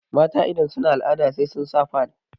mata idan suna al'ada sai sun sa fad